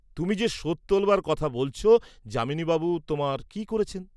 তুমি যে শোধ তোলবার কথা বলছ যামিনী বাবু তোমার কি করেছেন?